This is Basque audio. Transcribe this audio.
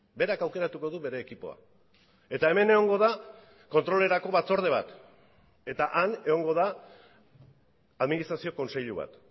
berak aukeratuko du bere ekipoa eta hemen egongo da kontrolerako batzorde bat eta han egongo da administrazio kontseilu bat